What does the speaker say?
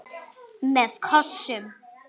Með kossum.